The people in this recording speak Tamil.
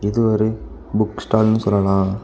இது ஒரு புக் ஸ்டால்னு சொல்லலா.